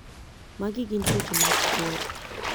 magi gin tuoche mag kor